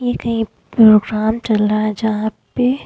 ये कहीं प्रोग्राम चल रहा है जहां पे --